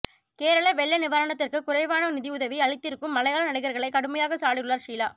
கேரள வெள்ள நிவாரணத்துக்கு குறைவான நிதியுதவி அளித்திருக்கும் மலையாள நடிகர்களை கடுமையாக சாடியுள்ளார் ஷீலா